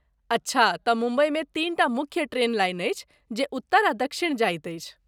अच्छा, तँ मुम्बईमे तीन टा मुख्य ट्रेन लाइन अछि जे उत्तर आ दक्षिण जाइत अछि।